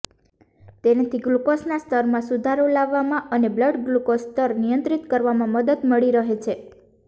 તેનાથી ગ્લુકોઝના સ્તરમાં સુધારો લાવવામાં અને બ્લડ ગ્લુકોઝ સ્તર નિયંત્રિત કરવામાં મદદ મળી રહે છે